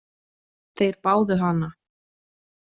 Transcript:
Þeir báðu hana.